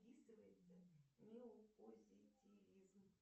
неопозитивизм